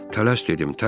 Tələs dedim, tələs.